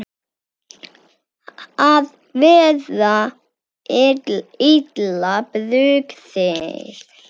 Að vera illa brugðið